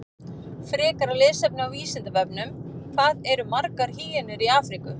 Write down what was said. Frekara lesefni á Vísindavefnum: Hvað eru margar hýenur í Afríku?